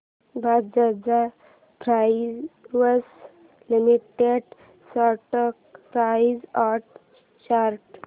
Bajaj Finserv limited stock price and chart